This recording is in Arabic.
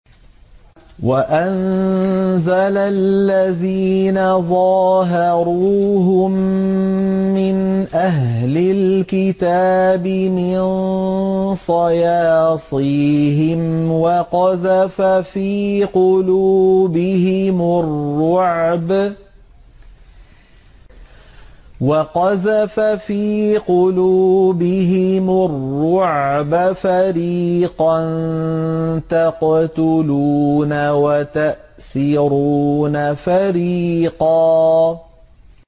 وَأَنزَلَ الَّذِينَ ظَاهَرُوهُم مِّنْ أَهْلِ الْكِتَابِ مِن صَيَاصِيهِمْ وَقَذَفَ فِي قُلُوبِهِمُ الرُّعْبَ فَرِيقًا تَقْتُلُونَ وَتَأْسِرُونَ فَرِيقًا